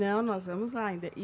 Não, nós vamos lá ainda e